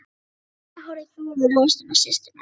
Konan horfði furðu lostin á systurnar.